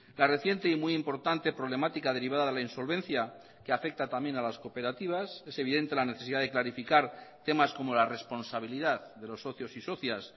la reciente y muy importante problemática derivada de la insolvencia que afecta también a las cooperativas es evidente la necesidad de clarificar temas como la responsabilidad de los socios y socias